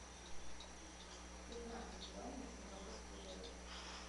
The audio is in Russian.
пятнадцать юаней в сингапурских долларах